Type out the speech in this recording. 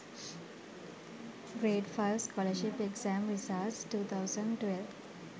grade 5 scholarship exam results 2012